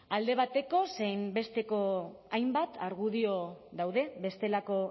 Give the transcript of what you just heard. alde bateko zein besteko hainbat argudio daude bestelako